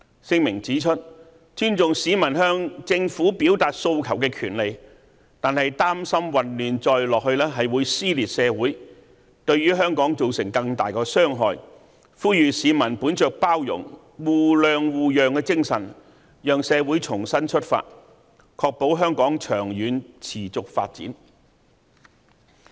聲明指出，尊重市民向政府表達訴求的權利，但擔心混亂再下去會撕裂社會，對香港造成更大的傷害，呼籲市民本着包容、互諒互讓精神，讓社會重新出發，確保香港長遠持續發展。